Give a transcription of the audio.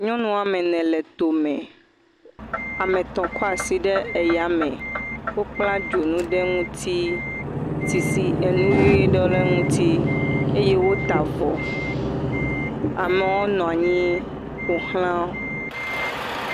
Nyɔnu woame ene le tome. Ame tɔ̃ kɔ asi ɖe eyame. Wokpla dzonu ɖe ŋuti. Sisi enu ʋee ɖe le ŋuti eye wota avɔ. Amewo nɔ anyi ƒo ʋlã wo.